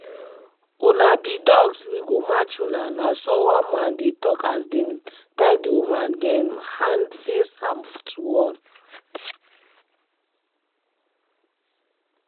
"una be dogs we go match una" na so one man dey tok as dem tie di women dem hand face am to wall.